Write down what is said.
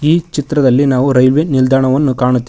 ಈ ಚಿತ್ರದಲ್ಲಿ ನಾವು ರೈಲ್ವೆ ನಿಲ್ದಾಣವನ್ನು ಕಾಣು--